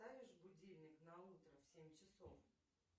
поставишь будильник на утро в семь часов